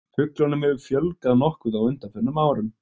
Fuglunum hefur fjölgað nokkuð á undanförnum árum.